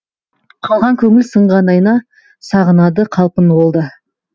қалған көңіл сынған айна сағынады қалпын ол да